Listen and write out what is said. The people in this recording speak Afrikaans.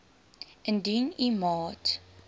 indien u maat